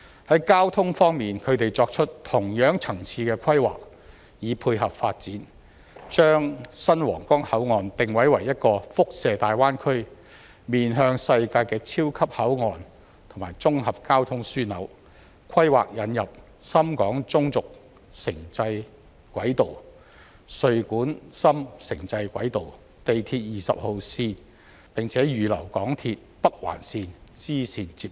在交通方面，他們作出同樣層次的規劃以配合發展，將新皇崗口岸定位為一個輻射大灣區、面向世界的超級口岸和綜合交通樞紐，規劃引入深廣中軸城際軌道、穗莞深城際軌道、地鐵20號線，並且預留港鐵北環綫支綫接入。